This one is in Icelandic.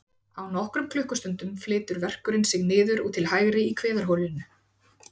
Á nokkrum klukkustundum flytur verkurinn sig niður og til hægri í kviðarholinu.